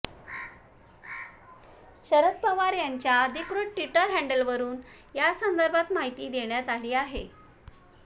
शरद पवार यांच्या अधिकृत Twitter handle वरून यासंदर्भात माहिती देण्यात आली आहे